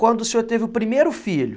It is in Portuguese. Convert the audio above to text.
Quando o senhor teve o primeiro filho,